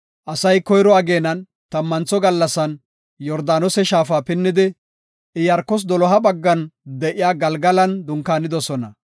Asay koyro ageenan tammantho gallasan Yordaanose shaafa pinnidi, Iyaarkos doloha baggan de7iya Galgalan dunkaanidosona.